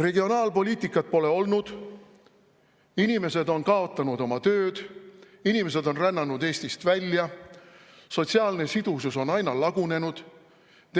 Regionaalpoliitikat pole olnud, inimesed on kaotanud oma töö, inimesed on rännanud Eestist välja, sotsiaalne sidusus on aina lagunenud,